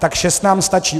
Tak šest nám stačí.